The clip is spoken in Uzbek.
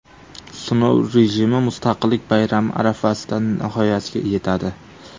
Sinov rejimi Mustaqillik bayrami arafasida nihoyasiga yetadi.